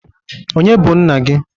Ọnye bụ nna gi?